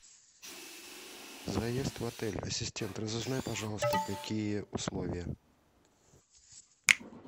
заезд в отель ассистент разузнай пожалуйста какие условия